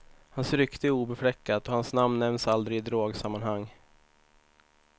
Hans rykte är obefläckat och hans namn nämns aldrig i drogsammanhang.